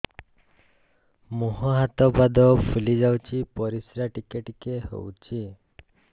ମୁହଁ ହାତ ପାଦ ଫୁଲି ଯାଉଛି ପରିସ୍ରା ଟିକେ ଟିକେ ହଉଛି